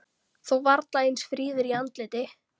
Þó varla eins fríður í andliti.